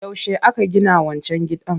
Yaushe aka gina wancan gidan?